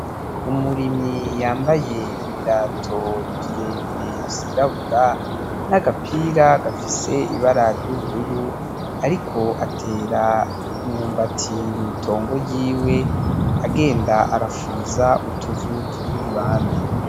Umurimyi yambaye ibirato birebire vyirabura n'agapira gafise ibara ry'ubururu ariko atera umumbati mw'itongo ryiwe agenda arafuriza utuvu turi iruhande.